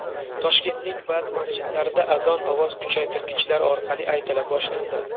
Toshkentning ba’zi masjidlarida azon ovoz kuchaytirgichlar orqali aytila boshlandi.